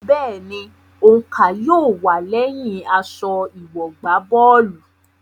Bẹ́ẹ̀ni, òǹkà yóò wà lẹyìn aṣọ ìwọ̀gbábọ́ọ̀lù.